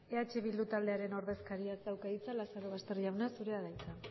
eh bildu taldearen ordezkariak dauka hitza lazarobaster jauna zurea da hitza